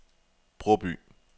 Bråby